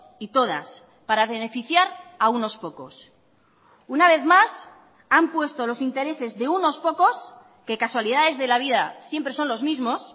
y todas para beneficiar a unos pocos una vez más han puesto los intereses de unos pocos que casualidades de la vida siempre son los mismos